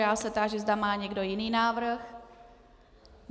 Já se táži, zda má někdo jiný návrh.